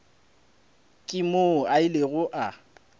ke moo a ilego a